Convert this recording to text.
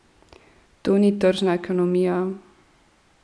To ni tržna ekonomija?